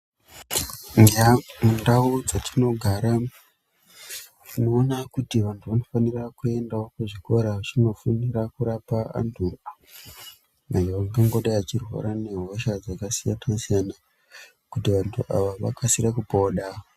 Nyandau dzatinogara tinoona kuti antu anofanira kuendawo kuzvikora achindofundira kurapa antu. Ayo angangidai achirwara ngehosha dzakasiyana siyana kuti vantu ava vakasire kupona.